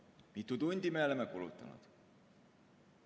Mitu tundi me oleme kulutanud?